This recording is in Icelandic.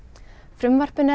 frumvarpinu